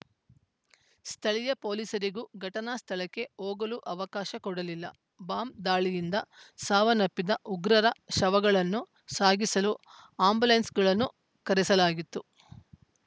ಸ್ಥಳೀಯ ಪೊಲೀಸರಿಗೂ ಘಟನಾ ಸ್ಥಳಕ್ಕೆ ಹೋಗಲು ಅವಕಾಶ ಕೊಡಲಿಲ್ಲ ಬಾಂಬ್‌ ದಾಳಿಯಿಂದ ಸಾವನ್ನಪ್ಪಿದ್ದ ಉಗ್ರರ ಶವಗಳನ್ನು ಸಾಗಿಸಲು ಆ್ಯಂಬುಲೆನ್ಸ್‌ಗಳನ್ನು ಕರೆಸಲಾಗಿತ್ತು